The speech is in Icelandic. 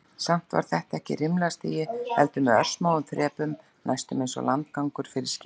Samt var þetta ekki rimlastigi, heldur með örsmáum þrepum, næstum einsog landgangur fyrir skip.